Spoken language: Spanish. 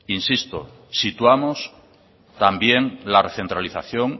insisto situamos también la recentralización